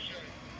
Nə deyirsən?